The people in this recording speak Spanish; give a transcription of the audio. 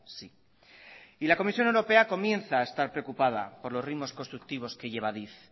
sí la comisión europea comienza a estar preocupada por los ritmos constructivos que lleva adif